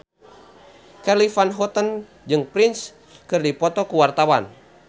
Charly Van Houten jeung Prince keur dipoto ku wartawan